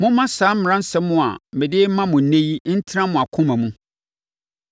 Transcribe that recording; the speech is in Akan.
Momma saa mmaransɛm a mede rema wo ɛnnɛ yi ntena mo akoma mu.